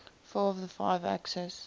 four of the five axis